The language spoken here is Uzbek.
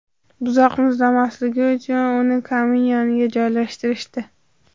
Buzoq muzlamasligi uchun uni kamin yoniga joylashtirishdi.